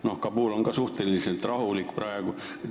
No Kabul on praegu ka suhteliselt rahulik.